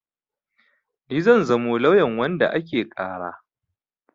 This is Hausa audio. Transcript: Ni zan zamo lauyan wanda ake ƙara.